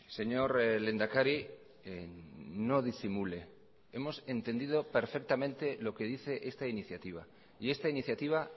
señor lehendakari no disimule hemos entendido perfectamente lo que dice esta iniciativa y esta iniciativa